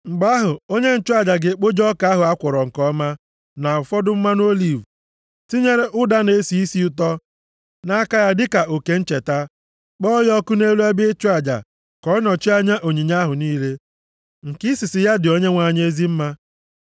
Mgbe ahụ, onye nchụaja ga-ekpoju ọka ahụ a kwọrọ nke ọma, na ụfọdụ mmanụ oliv, tinyere ụda na-esi isi ụtọ nʼaka ya dịka oke ncheta. Kpọọ ya ọkụ nʼelu ebe ịchụ aja ka ọ nọchie anya onyinye ahụ niile, nke isisi ya dị Onyenwe anyị ezi mma.